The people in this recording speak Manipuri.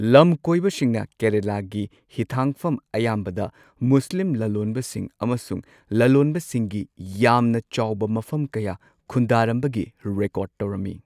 ꯂꯝꯀꯣꯏꯕꯁꯤꯡꯅ ꯀꯦꯔꯂꯥꯒꯤ ꯍꯤꯊꯥꯡꯐꯝ ꯑꯌꯥꯝꯕꯗ ꯃꯨꯁꯂꯤꯝ ꯂꯂꯣꯟꯕꯁꯤꯡ ꯑꯃꯁꯨꯡ ꯂꯂꯣꯟꯕꯁꯤꯡꯒꯤ ꯌꯥꯝꯅ ꯆꯥꯎꯕ ꯃꯐꯝ ꯀꯌꯥ ꯈꯨꯟꯗꯥꯔꯝꯕꯒꯤ ꯔꯦꯀꯣꯔꯗ ꯇꯧꯔꯝꯃꯤ꯫